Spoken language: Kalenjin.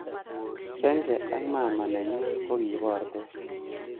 Senge ak maama nenyu ko ki bortos